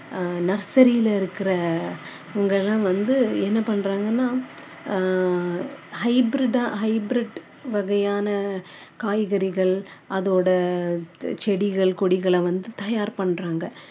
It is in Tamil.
அஹ் nursery ல இருக்கிறவங்க எல்லாம் வந்து என்ன பண்றாங்கன்னா ஆஹ் hybrid டா hybrid வகையான காய்கறிகள் அதோட செடிகள் கொடிகளை வந்து தயார் பண்றாங்க